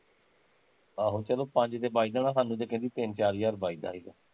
ਆਹੋ ਚੱਲੋ ਪੰਜ ਤੇ ਬੱਚਦਾ ਹੁਣਾ ਸਾਨੂੰ ਤੇ ਕਹਿੰਦੀ ਤਿੰਨ ਚਾਰ ਹਜ਼ਾਰ ਬੱਚਦਾ ਸੀਗਾ